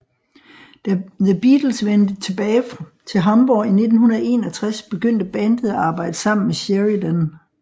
Da The Beatles vendte tilbage til Hamborg i 1961 begyndt bandet at arbejde sammen med Sheridan